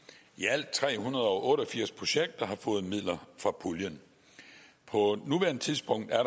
i alt tre hundrede og otte og firs projekter har fået midler fra puljen på nuværende tidspunkt er